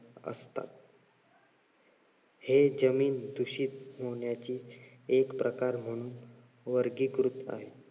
हे जमीन दूषित होण्याची एक प्रकार म्हणून वर्गीकृत आहे.